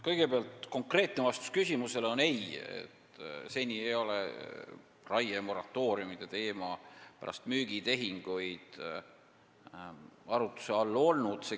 Kõigepealt, konkreetne vastus küsimusele on ei – seni ei ole raiemoratooriumide teema pärast müügitehinguid arutuse all olnud.